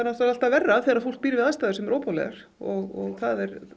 alltaf verra þegar fólk býr við aðstæður sem eru óboðlegar og